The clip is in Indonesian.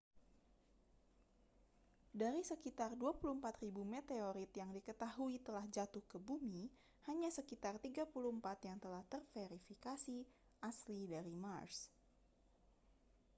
dari sekitar 24.000 meteorit yang diketahui telah jatuh ke bumi hanya sekitar 34 yang telah terverifikasi asli dari mars